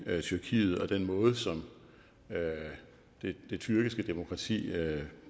tyrkiet og den måde som det tyrkiske demokrati